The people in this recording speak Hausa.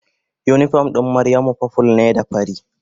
Unipom ɗin Maryamu purple ne da fari.